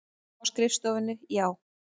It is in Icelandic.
Á skrifstofunni, já.